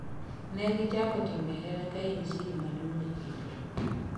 Negichako timbe hera ka en siri maduong' e kind gi